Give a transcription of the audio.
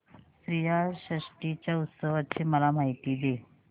श्रीयाळ षष्टी च्या उत्सवाची मला माहिती दे